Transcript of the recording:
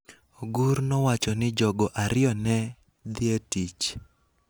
Ogur nowacho ni jogo ariyo ne dhi e tich